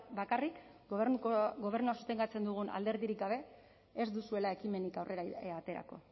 bakarrik gobernua sostengatzen dugun alderdirik gabe ez duzuela ekimenik aurrera aterako